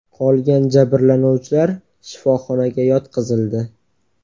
Qolgan jabrlanuvchilar shifoxonaga yotqizildi.